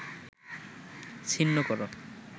ছিন্ন কর